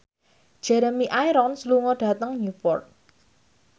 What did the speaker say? Jeremy Irons lunga dhateng Newport